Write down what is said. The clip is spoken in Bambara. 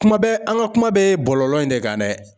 Kuma bɛɛ an ka kuma bɛ bɔlɔlɔ in de kan dɛ.